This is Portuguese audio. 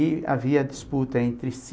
E havia disputa entre si.